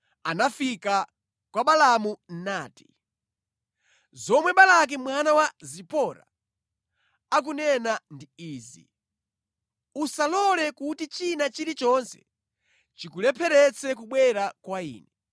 anafika kwa Balaamu nati; “Zomwe Balaki mwana wa Zipori akunena ndi izi: ‘Usalole kuti china chilichonse chikulepheretse kubwera kwa ine,